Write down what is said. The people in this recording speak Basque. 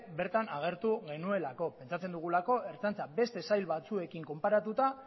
bertan aurkeztu genuelako pentsatzen dugulako ertzaintza beste sail batzuekin konparatuta